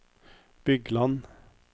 Bygland